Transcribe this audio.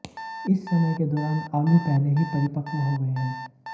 इस समय के दौरान आलू पहले ही परिपक्व हो गए हैं